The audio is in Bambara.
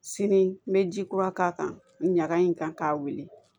Sini n bɛ ji kura k'a kan ɲaga in kan k'a wuli